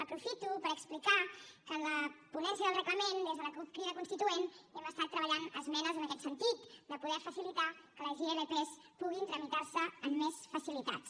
aprofito per explicar que en la ponència del reglament des de la cup crida constituent hem estat treballant esmenes en aquest sentit de poder facilitar que les ilp puguin tramitar se amb més facilitats